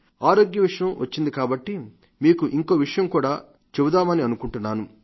ఆరోగ్యం విషయం వచ్చింది కాబట్టి మీకు ఇంకో విషయం కూడా చెబుదామనుకుంటున్నాను